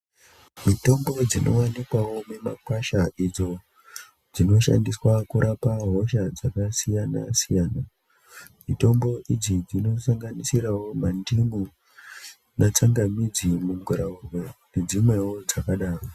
Mitombo dzinowanikwawo mumakwasha idzo dzinoshandiswa kurapa hosha dzakasiyana-siyana. Mitombo idzi dzinosanganisirawo mandimu netsangamidzi, mungiraurwe, nedzimwewo dzakadaro.